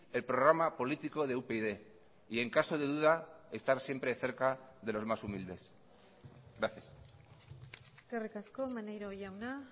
el programa político de upyd y en caso de duda estar siempre cerca de los más humildes gracias eskerrik asko maneiro jauna